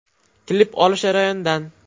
Klip olish jarayonidan.